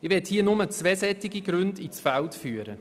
Ich möchte hier nur zwei solche Gründe ins Feld führen.